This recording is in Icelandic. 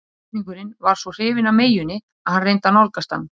Einhyrningurinn var svo hrifinn af meyjunni að hann reyndi að nálgast hana.